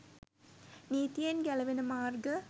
නීතියෙන් ගැලවෙන මාර්ග